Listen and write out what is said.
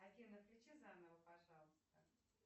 афина включи заново пожалуйста